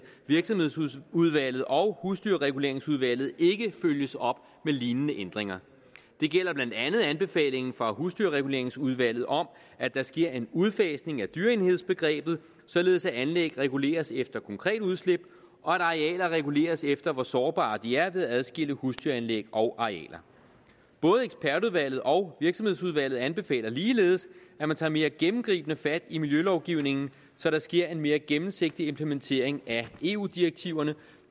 virksomhedsudvalget og husdyrreguleringsudvalget ikke følges op med lignende ændringer det gælder blandt andet anbefalingen fra husdyrreguleringsudvalget om at der sker en udfasning af dyreenhedsbegrebet således at anlæg reguleres efter konkret udslip og arealer reguleres efter hvor sårbare de er ved at man adskiller husdyranlæg og arealer både ekspertudvalget og virksomhedsudvalget anbefaler ligeledes at man tager mere gennemgribende fat i miljølovgivningen så der sker en mere gennemsigtig implementering af eu direktiverne